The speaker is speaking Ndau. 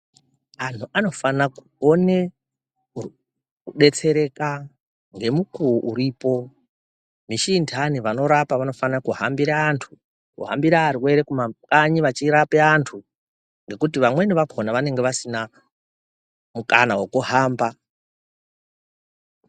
Antu anofana kukona kudetsereka ngemukuwo uripo nechindani vanorapa vanofanika kuhambira antu kumakanyi vachirapa antu ngekuti vamweni vakona vanenge vasina mukana wekuhamba.